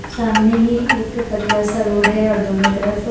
सामने ही एक पतला सा रोड है और दोनों तरफ--